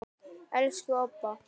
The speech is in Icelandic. Elsku Obba.